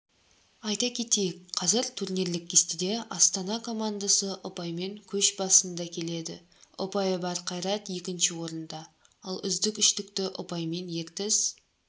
айта кетейік қазір турнирлік кестеде астана командасы ұпаймен көш басында келеді ұпайы бар қайрат екінші орында ал үздік үштікті ұпаймен ертіс